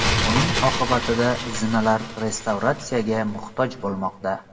Buning oqibatida zinalar restavratsiyaga muhtoj bo‘lmoqda.